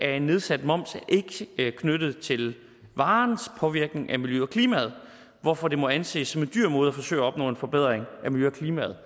af nedsat moms er ikke knyttet til varens påvirkning af miljøet og klimaet hvorfor det må anses som en dyr måde at forsøge at opnå en forbedring af miljøet og klimaet